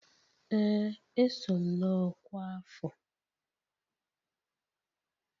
Ee, eso m na ọkwa afọ